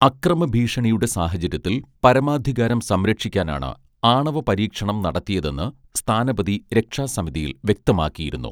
അക്രമഭീഷണിയുടെ സാഹചര്യത്തിൽ പരമാധികാരം സംരക്ഷിക്കാനാണ് ആണവപരീക്ഷണം നടത്തിയതെന്ന് സ്ഥാനപതി രക്ഷാസമിതിയിൽ വ്യക്തമാക്കിയിരുന്നു